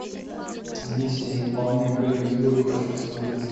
миссия невыполнима племя изгоев хочу посмотреть